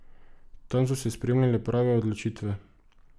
Tam so se sprejemale prave odločitve.